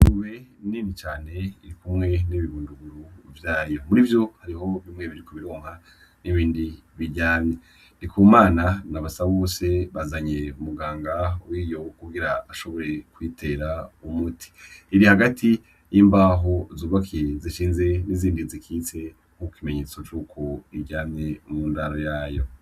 Ingurube nini cane iri kumwe nibi bunduguru vyayo, murivyo hari bimwe biriko bironka ibindi biryamye ndikumana na basabose bazanye umuganga wo kugira ashobore kuyitera umuti iri hagati y'imbaho zubakiye zishinze n'izindi zishinze nk'ikimenyetso cuko biryamye mu ndaro yayo.